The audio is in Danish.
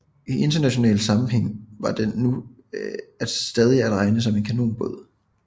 I international sammenhæng var den nu stadig at regne som en kanonbåd